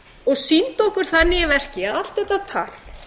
og sýndu okkur þannig í verki að allt þetta tal